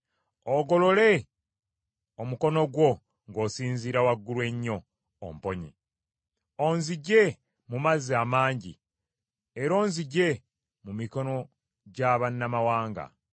Ogolole omukono gwo ng’osinziira waggulu ennyo, omponye, onzigye mu mazzi amangi, era onzigye mu mikono gya bannamawanga;